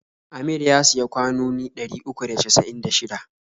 Amir ya siya kwanoni ɗari uku da casa'in da shida.